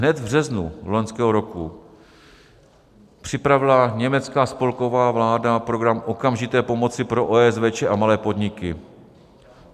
Hned v březnu loňského roku připravila německá spolková vláda program okamžité pomoci pro OSVČ a malé podniky.